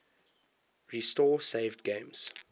restore saved games